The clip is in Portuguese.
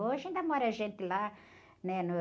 Hoje ainda mora gente lá, né?